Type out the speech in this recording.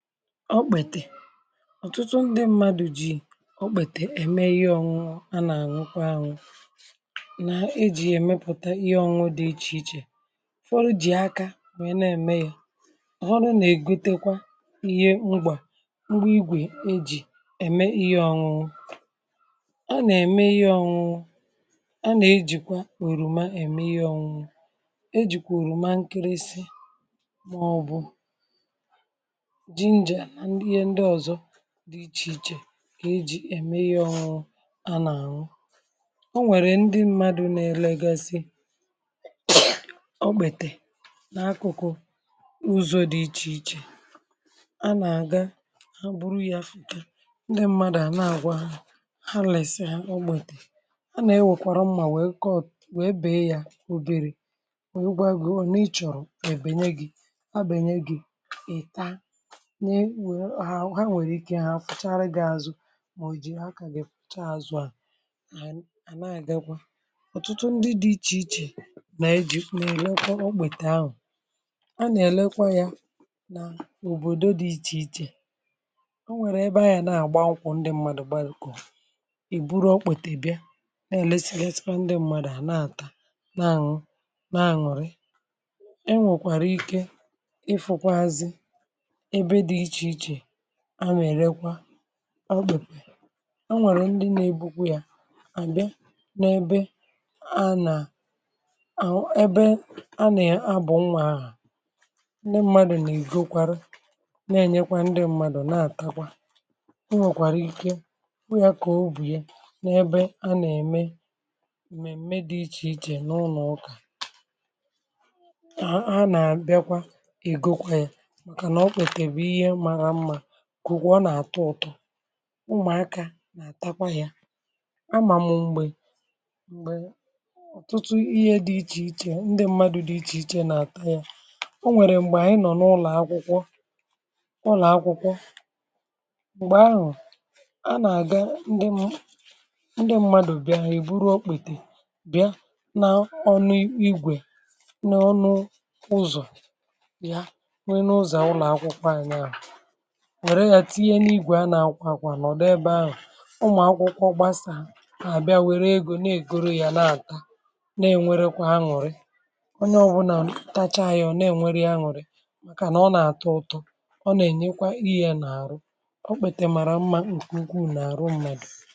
Ọ̀tụtụ ndị mmadụ̀ jì okpètè ème ihe ọṅụṅụ, a nà-àṅụkwa àṅụ̀, nà e jì èmepụ̀ta ihe ọṅụ̇ dị̀ iche iche. Fọrọ̇ jì aka wèe na-ème ya. Ọ̀ họrọ̇ na-ègotekwa ihe ngbà, um mgbe igwe e jì ème ihe ọṅụṅụ a, nà-ème ihe ọṅụ̇ a, nà-ejìkwa nwèrùmà ème ihe ọṅụ̇, ejìkwà èrùmà nkịrịsị dị̀ iche iche, kà ejì ème ihe ọhụ̇ụ̇ a nà-àhụ. Ọ nwèrè ndị mmadụ̇ nà-elegasị ọ̀gbètè n’akụ̀kụ̀ uzu̇ dị iche iche, um a nà-àga, ha bụrụ ya fùta, ndị mmadụ̀ à nà-àgwa ha lès ọ̀gbètè a. Nà-ewèkwàrà mmȧ, wèe kọọ̀, wèe bèe ya obere, um wèe gwa, gòo n’ịchọ̀rọ̀ èbènye gị̇, ha bènye gị̇. Ị̀ta nke nwere, ọ ha nwere ike, ihe ahụ̀ pụchara gị azụ̀? Mà ò ji akà gị pụcha azụ̀ à? um À, à nà ànyị gakwa. Ọ̀tụtụ ndị dị iche iche nà-eji̇, nà-elekwa okpètè ahụ̀. A nà-èlekwa ya n’òbòdò dị iche iche. Ọ nwèrè ebe anyà na-àgba akwụkwọ, ndị mmadụ̀ gbalìkọ̀, ì buru okpètè bịa, na-èlesi gli, esìgwa ndị mmadụ̀ à na-àtà, na-àṅụ, na-àṅụrị. E nwekwara ike ịfụ̇kwazị anwà, um ẹ̀rẹkwa anwàrẹ̀. Ndị na-ebukwa ya n’ebe anà, ebe anà um ya abụọ̀, nwa ahụ̀, ndị mmadụ̀ nà ìgokwara, na ẹ̀nyekwa, ndị mmadụ̀ na-àtakwa. Ọ nwèrèkwa ike, bụ ya kà o bùye, um n’ebe a nà-ème m̀mèm̀me dị iche iche, n’ụnọ̀ ụ́kà. A nà-bịakwa, ègokwa ya, kwu kwu, ọ nà-àtọ ụ̀tọ. Ụmụ̀aka nà-àtakwa ya, amà mụ̀ m̀gbè m̀gbè. Ọ̀tụtụ ihe dị̇ iche iche, ndị mmadụ̇ dị̇ iche iche nà-àta ya. Ọ nwèrè m̀gbè ànyị nọ̀ n’ụlọ̀ akwụkwọ. Ụlọ̀ akwụkwọ m̀gbè ahụ̀, a nà-àga, ndị mmadụ̀ bịahụ̀, ì buru okpètè bịa, um na ọnụ igwe n’ọnụ ụzọ̀ ya. Wèe n’ụzọ̀ ụlọ̀ akwụkwọ ànyị, um ànà nwèrè ya, tinye n’igwè a nà-akwàkwà, nọ̀dụ ebe ahụ̀, ụmụ̀akwụkwọ gbasà, àbịa, wère egò, na-ègoro ya, nà-àta, na-enwerekwa àṅụ̀rị. Onye ọbụlà m táchá ya, yọ̀, na-enwere ya àṅụ̀rị, um mākànà ọ nà-àtọ ụ̀tọ, ọ nà-ènyekwa ihe nà-àrụ. Ọ kpètè màrà mma, ǹkwùngwù nà-àrụ mmadụ̀.